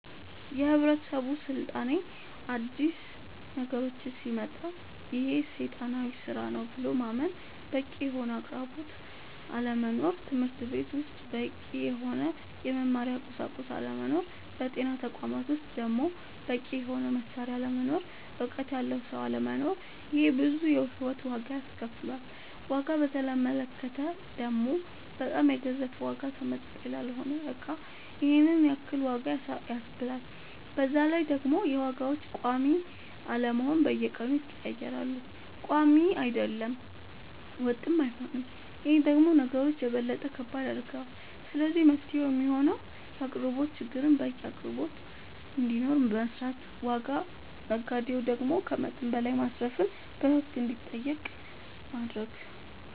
የህብረተሰብ ስልጣኔ አዲስ ነገሮች ሲመጣ ይሄ ሴጣናዊ ስራ ነው ብሎ ማመን በቂ የሆነ አቅርቦት አለመኖር ትምህርትቤት ውስጥ በቂ የሆነ የመማሪያ ቁሳቁስ አለመኖር በጤና ተቋማት ውስጥ ደሞ በቂ የሆነ መሳሪያ አለመኖር እውቀት ያለው ሰው አለመኖር ይሄ ብዙ የሂወት ዋጋ አስከፍሎል ዋጋ በተመለከተ ደሞ በጣም የገዘፈ ዋጋ ተመጣጣኝ ላልሆነ እቃ ይሄንን ያክል ዋጋ ያስብላል በዛላይ ደሞ የዋጋዎች ቆሚ አለመሆን በየቀኑ ይቀያየራል ቆሚ አይደለም ወጥም አይሆንም ይሄ ደሞ ነገሮች የበለጠ ከባድ ያደርገዋል ስለዚህ መፍትሄው የሚሆነው የአቅርቦት ችግርን በቂ አቅርቦት እንዲኖር መስራት ዋጋ ነጋዴው ደሞ ከመጠን በላይ ማትረፍን በህግ እንዲጠየቅ ማረግ